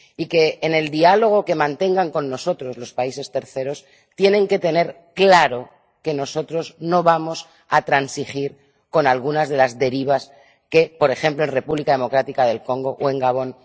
Y que, en el diálogo que mantengan con nosotros, los países terceros tienen que tener claro que nosotros no vamos a transigir con algunas de las derivas que se están produciendo, por ejemplo, en la República Democrática del Congo o en Gabón.